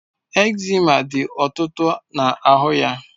Eczema dị ọtụtụ na ahụ ya